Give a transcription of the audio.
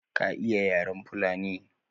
Ka iya yaren fulani?